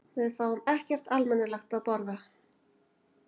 Við fáum ekkert almennilegt að borða